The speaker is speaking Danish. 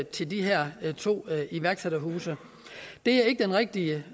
til de her to iværksætterhuse det er ikke den rigtige